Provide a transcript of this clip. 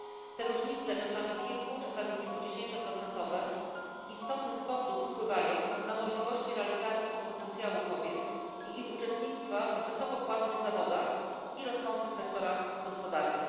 Te różnice czasami kilku czasami kilkudziesięcioprocentowe w istotny sposób wpływają na możliwości realizacji potencjału kobiet i ich uczestnictwo w wysoko płatnych zawodach i rozwijających się sektorach gospodarki.